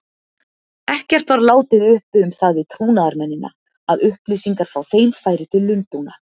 Ekkert var látið uppi um það við trúnaðarmennina, að upplýsingar frá þeim færu til Lundúna.